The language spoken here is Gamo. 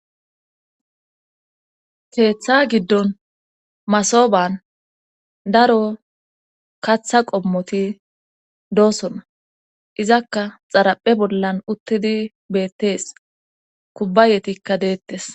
Keetha giddon masoban daro katha qommoti doosona izakka xaraphe bollan uttidi beettees kubbayetikka deettes